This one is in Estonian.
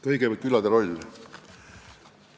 Kõigepealt külade rollist.